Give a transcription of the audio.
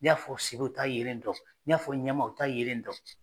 N'i y'a fɔ sebe u t'a yelen dɔn n'i y'a fɔ ɲama u t'a yelen dɔn.